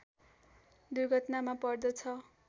दुर्घटनामा पर्दछ